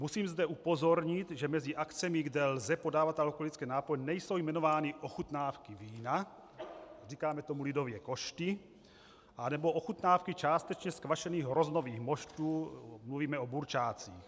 Musím zde upozornit, že mezi akcemi, kde lze podávat alkoholické nápoje, nejsou jmenovány ochutnávky vína, říkáme tomu lidově košty, nebo ochutnávky částečně zkvašených hroznových moštů, mluvíme o burčácích.